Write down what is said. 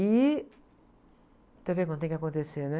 E... quando tem que acontecer, né?